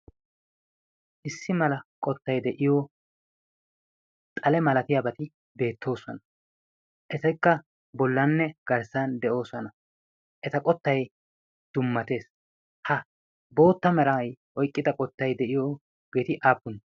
issi mala qottay de'iyo xale malatiyaabati beettiyoo suhwana etikka bollanne garssan de'oosana eta qottay dummatees. ha bootta meray oyqqita qottai de'iyo beeti aappune?